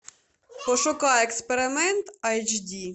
пошукай эксперимент айч ди